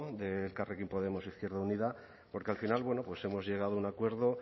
de elkarrekin podemos izquierda unida porque al final bueno pues hemos llegado a un acuerdo